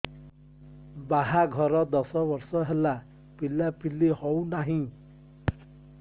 ବାହାଘର ଦଶ ବର୍ଷ ହେଲା ପିଲାପିଲି ହଉନାହି